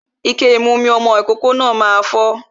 Ike ìmu mi ọmọ ìkókó náà máa fọ́